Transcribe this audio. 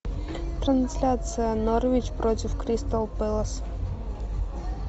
трансляция норвич против кристал пэлас